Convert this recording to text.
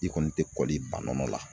I kɔni te kɔli ba nɔnɔ la.